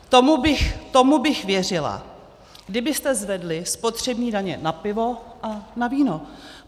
Tomu bych věřila, kdybyste zvedli spotřební daně na pivo a na víno.